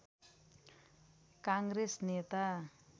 काङ्ग्रेस नेता